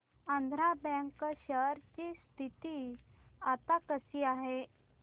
Andhra Bank share ची स्थिती आता कशी आहे